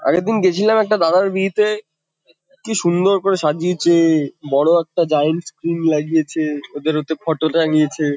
আগের দিন গেছিলাম একটা দাদার বিয়েতে। কি সুন্দর করে সাজিয়েছে। বড়ো একটা জায়েন্ট স্ক্রিন লাগিয়েছে। ওদের ওতে ফটো টাঙিয়েছে।